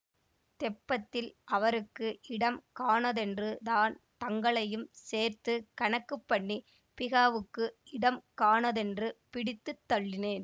தெப்பத்தில் அவருக்கு இடம் காணாதென்று தான் தங்களையும் சேர்த்து கணக்கு பண்ணிப் பிஹாவுக்கு இடம் காணாதென்று பிடித்து தள்ளினேன்